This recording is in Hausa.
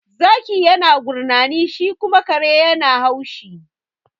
Zaki yana gurnani, shi kuma kare yana haushi.